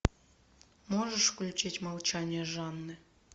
можешь включить молчание жанны